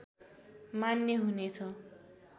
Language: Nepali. मान्य हुनेछ